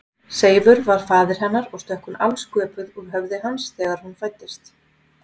Seifur var faðir hennar og stökk hún alsköpuð úr höfði hans þegar hún fæddist.